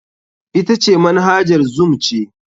Ita ce Manhajar zoom ce.